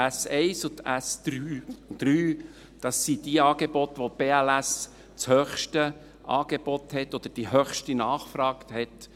Die S1 und die S3 sind diejenigen Angebote, bei denen die BLS das höchste Angebot oder die höchste Nachfrage hat.